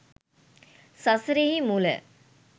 සසරෙහි මුල